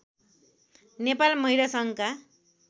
नेपाल महिला सङ्घका